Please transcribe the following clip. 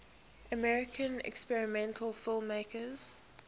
american experimental filmmakers